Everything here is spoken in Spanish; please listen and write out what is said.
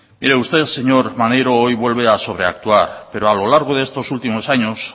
usted señor maneiro hoy vuelve a sobreactuar pero a lo largo de estos últimos años